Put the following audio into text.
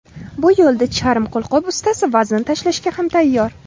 Bu yo‘lda charm qo‘lqop ustasi vazn tashlashga ham tayyor.